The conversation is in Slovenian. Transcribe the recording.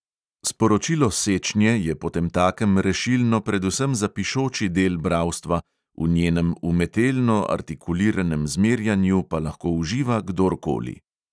Sporočilo sečnje je potemtakem rešilno predvsem za pišoči del bralstva, v njenem umetelno artikuliranem zmerjanju pa lahko uživa kdorkoli.